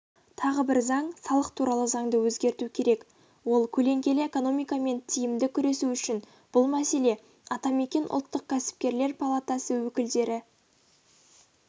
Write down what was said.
тағы бір заң салық туралы заңды өзгерту керек ол көлеңкелі экономикамен тиімді күресу үшін бұл мәселе атамекен ұлттық кәсіпкерлер палатасы өкілдері